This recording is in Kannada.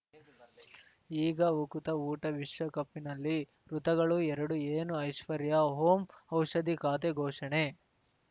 ಈಗ ಉಕುತ ಊಟ ವಿಶ್ವಕಪ್‌ನಲ್ಲಿ ಋತುಗಳು ಎರಡು ಏನು ಐಶ್ವರ್ಯಾ ಓಂ ಔಷಧಿ ಖಾತೆ ಘೋಷಣೆ